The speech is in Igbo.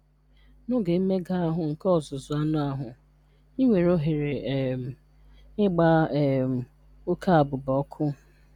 N'oge mmega ahụ nke ọzụzụ anụ ahụ, ị nwere ohere um ịgba um oke abụba ọkụ.